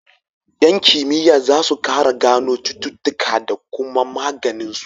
Yan kimiya zasu kara gano cututuƙa da kuma maganin su